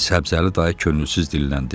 Səbzəli dayı könülsüz dilləndi.